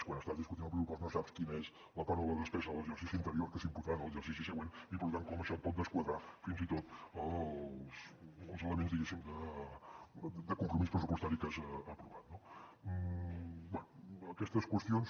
quan estàs discutint el pressupost no saps quina és la part de la despesa de l’exercici anterior que s’imputarà a l’exercici següent i per tant com això et pot desquadrar fins i tot els elements diguéssim de compromís pressupostari que has aprovat no bé aquestes qüestions